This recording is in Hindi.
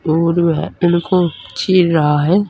और वह उनको चिर रहा है।